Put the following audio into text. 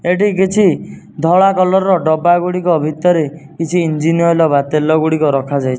ଏଠି କିଛି ଧଳା କଲର୍ ର ଡବା ଗୁଡ଼ିକ ଭିତରେ କିଛି ଇଞ୍ଜିନ ଓଏଲ୍ ବା ତେଲ ଗୁଡ଼ିକ ରଖାଯାଇଛି।